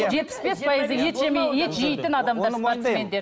жетпіс бес пайызы ет ет жейтін адамдар